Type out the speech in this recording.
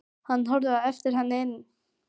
Hann horfði á eftir henni inn.